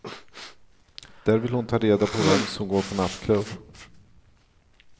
Där vill hon ta reda på vem som går på nattklubb.